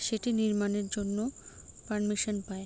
সেটি নির্মাণের জন্য পারমিশন পায়।